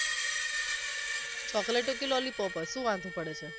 chocolate હોય કે lollipop હોય શું વાંધો પડે છે